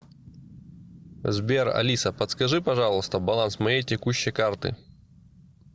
сбер алиса подскажи пожалуйста баланс моей текущей карты